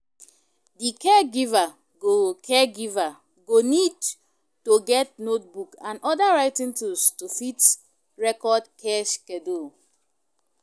Di caregiver go caregiver go need to get notebook and oda writing toosshls to fit record care schedule